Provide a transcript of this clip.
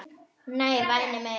Nei, væni minn.